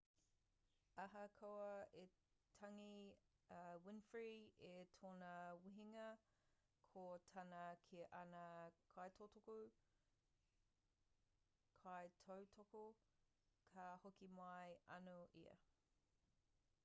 ahakoa i tangi a winfrey i tōna wehenga ko tāna ki ana kaitautoko ka hoki mai anō ia